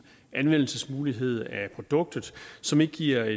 anvendelsesmulighed af produktet som ikke giver